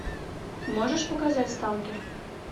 можешь показать сталкер